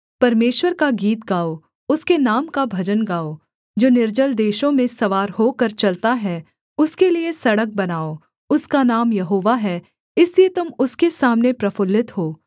परमेश्वर का गीत गाओ उसके नाम का भजन गाओ जो निर्जल देशों में सवार होकर चलता है उसके लिये सड़क बनाओ उसका नाम यहोवा है इसलिए तुम उसके सामने प्रफुल्लित हो